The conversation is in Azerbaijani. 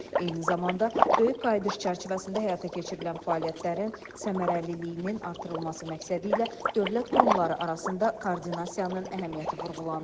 Eyni zamanda Böyük Qayıdış çərçivəsində həyata keçirilən fəaliyyətlərin səmərəliliyinin artırılması məqsədi ilə dövlət qurumları arasında koordinasiyanın əhəmiyyəti vurğulanıb.